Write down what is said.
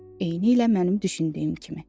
Eynilə mənim düşündüyüm kimi.